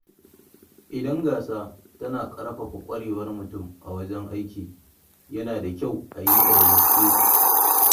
Idan gasa tana ƙarfafa ƙwarewar mutum a wajen aiki, yana da kyau a yi ta da gaske.